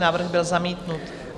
Návrh byl zamítnut.